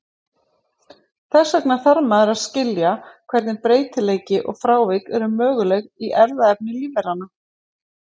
Þess vegna þarf maður að skilja hvernig breytileiki og frávik eru möguleg í erfðaefni lífveranna.